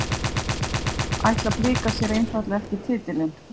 Ætla Blikar sér einfaldlega ekki titilinn?